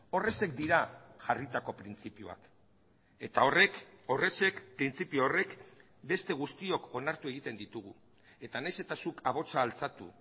horrexek dira jarritako printzipioak eta horrek horrexek printzipio horrek beste guztiok onartu egiten ditugu eta nahiz eta zuk ahotsa altxatu